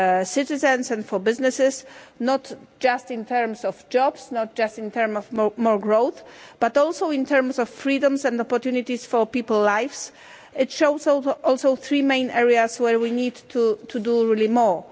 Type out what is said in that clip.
citizens and for businesses, not just in terms of jobs, not just in terms of more growth, but also in terms of freedoms and opportunities for people's lives. It shows also three main areas where we really need to do more.